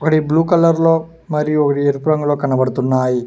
ఒకటి blue colour లో మరియు ఒకటి ఎరుపు రంగులో కనబడుతున్నాయి.